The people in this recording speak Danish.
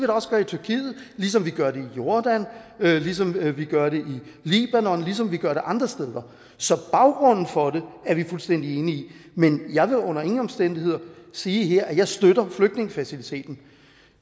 også gøre i tyrkiet ligesom vi gør det i jordan ligesom vi vi gør det i libanon ligesom vi gør det andre steder så baggrunden for det er vi fuldstændig enige i men jeg vil under ingen omstændigheder sige her at jeg støtter flygtningefaciliteten